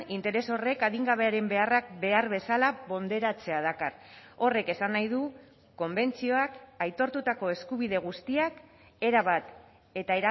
interes horrek adingabearen beharrak behar bezala ponderatzea dakar horrek esan nahi du konbentzioak aitortutako eskubide guztiak erabat eta